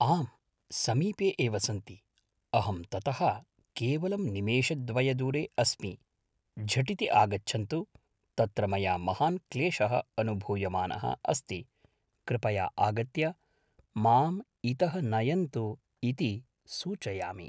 आम् समीपे एव सन्ति अहं ततः केवलं निमेषद्वयदूरे अस्मि झटिति आगच्छन्तु तत्र मया महान् क्लेशः अनुभूयमानः अस्ति कृपया आगत्य माम् इतः नयन्तु इति सूचयामि